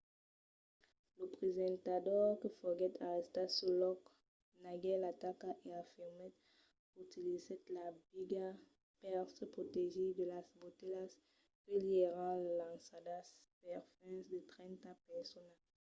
lo presentador que foguèt arrestat sul lòc neguèt l'ataca e afirmèt qu'utilizèt la biga per se protegir de las botelhas que li èran lançadas per fins a trenta personas